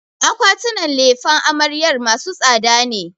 Akwatinan lefen amaryar masu tsada ne.